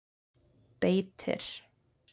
Beitir